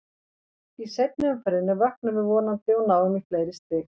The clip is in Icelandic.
Í seinni umferðinni vöknum við vonandi og náum í fleiri stig.